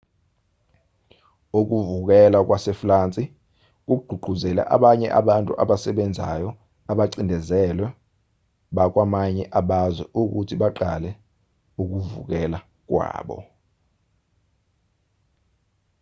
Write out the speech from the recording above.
ukuvukela kwasefulansi kugqugquzele abanye abantu abasebenzayo abacindezelwe bakwamanye abazwe ukuthi baqale ukuvukela kwabo